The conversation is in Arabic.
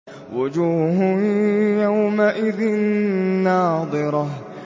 وُجُوهٌ يَوْمَئِذٍ نَّاضِرَةٌ